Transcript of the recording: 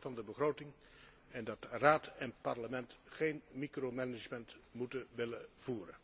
van de begroting en dat Raad en Parlement geen micromanagement moeten willen voeren.